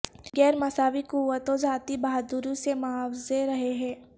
غیر مساوی قوتوں ذاتی بہادری سے معاوضہ رہے ہیں